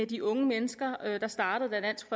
de unge mennesker der startede da dansk